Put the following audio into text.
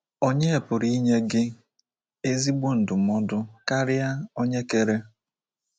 Onye pụrụ inye gị ezigbo ndụmọdụ karịa onye kere?